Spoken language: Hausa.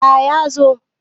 A ya zo